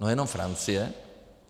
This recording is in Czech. No, jenom Francie.